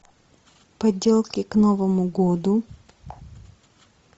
поделки к новому году